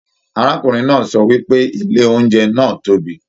Arákùnrin náà sọ wípé ilé oúnjẹ náà tóbi.